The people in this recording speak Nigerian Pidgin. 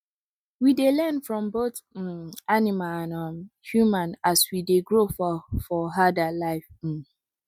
we dey learn from both um animal and um human as we dey grow for for herder life um